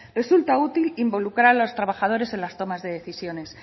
resulta útil involucrar a los trabajadores en las tomas de decisiones